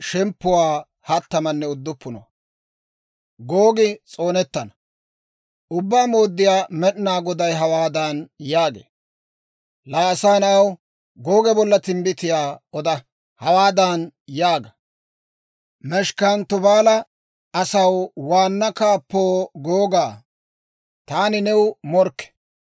«Ubbaa Mooddiyaa Med'inaa Goday hawaadan yaagee; ‹Laa asaa na'aw, Googe bolla timbbitiyaa oda. Hawaadan yaaga; «Meshekanne Tubaala asaw waanna kaappoo Googaa, taani new morkke.